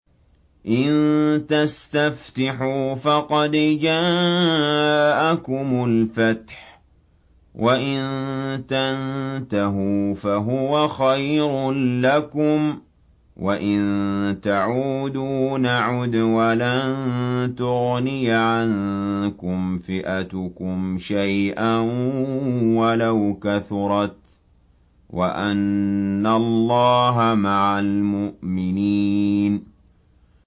إِن تَسْتَفْتِحُوا فَقَدْ جَاءَكُمُ الْفَتْحُ ۖ وَإِن تَنتَهُوا فَهُوَ خَيْرٌ لَّكُمْ ۖ وَإِن تَعُودُوا نَعُدْ وَلَن تُغْنِيَ عَنكُمْ فِئَتُكُمْ شَيْئًا وَلَوْ كَثُرَتْ وَأَنَّ اللَّهَ مَعَ الْمُؤْمِنِينَ